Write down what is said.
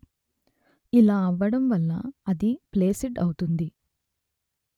ఇలా అవ్వడం వల్ల అది ఫ్లేసిడ్ అవుతుంది